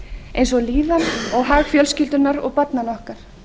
eins og líðan og hag fjölskyldunnar og barnanna okkar